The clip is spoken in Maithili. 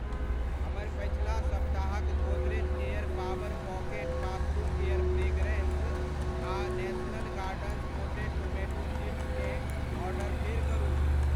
हमर पछिला सप्ताहक Godrej air power pocket bathroom air fragrance आ national gardens potted tomato seeds केँ ऑर्डर फेर करू।